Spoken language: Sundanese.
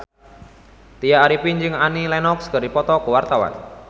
Tya Arifin jeung Annie Lenox keur dipoto ku wartawan